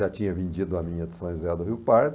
Já tinha vendido a minha de São José do Rio Pardo.